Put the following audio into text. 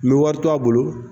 N be wari to a bolo